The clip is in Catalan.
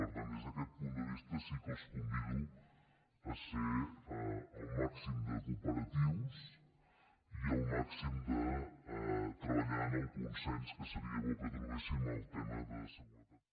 per tant des d’aquest punt de vista sí que els convido a ser al màxim de cooperatius i treballar en el consens que seria bo que trobéssim en el tema de seguretat